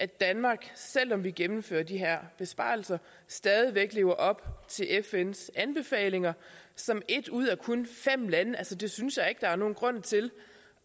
danmark selv om vi gennemfører de her besparelser stadig væk lever op til fns anbefalinger som et ud af kun fem lande altså det synes jeg ikke der er nogen grund til